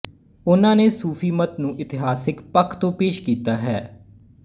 ਉਹਨਾਂ ਨੇ ਸੂਫ਼ੀਮਤ ਨੂੰ ਇਤਿਹਾਸਿਕ ਪੱਖ ਤੋਂ ਪੇਸ਼ ਕੀਤਾ ਹੈ